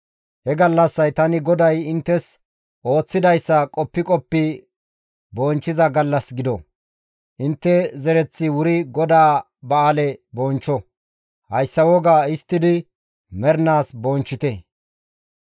«He gallassay tani GODAY inttes ooththidayssa qoppi qoppi bonchchiza gallas gido; intte zereththi wuri GODAA ba7aale bonchcho; hayssa inttes woga histtidi mernaas bonchchite.